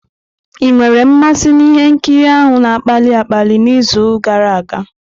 Ị nwere mmasị na ihe nkiri ahụ na-akpali akpali n'izu gara aga?